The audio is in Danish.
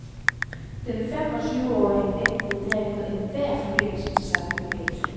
Den fem og tyveårige nægtede derimod enhver forbindelse til samme bevægelse.